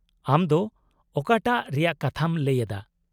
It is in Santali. -ᱟᱢ ᱫᱚ ᱚᱠᱟᱴᱟᱜ ᱨᱮᱭᱟᱜ ᱠᱟᱛᱷᱟᱢ ᱞᱟᱹᱭ ᱮᱫᱟ ?